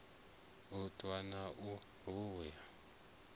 u ṱwa na u vhuya